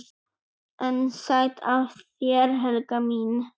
"""EN SÆTT AF ÞÉR, HELGA MÍN!"""